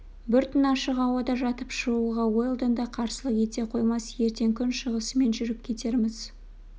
бір түн ашық ауада жатып шығуға уэлдон да қарсылық ете қоймас ертең күн шығысымен жүріп кетерміз